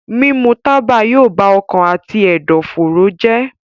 Mímu tábà yóò bá ọkàn àti ẹ̀dọ̀fóró jẹ́.